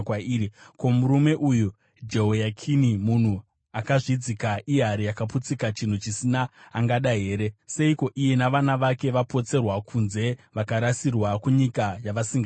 Ko, murume uyu Jehoyakini munhu akazvidzika, ihari yakaputsika, chinhu chisina angada here? Seiko iye navana vake vapotserwa kunze, vakarasirwa kunyika yavasingazivi?